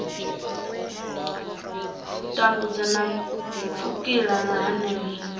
tambudzwa na pfukiwa ha pfanelo